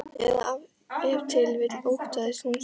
Eða ef til vill óttaðist hún svörin.